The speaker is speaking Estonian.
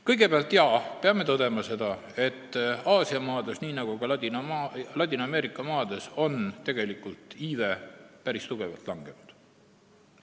Kõigepealt peame tõdema, et nii Aasia maades kui ka Ladina-Ameerika maades on iive päris tugevalt langenud.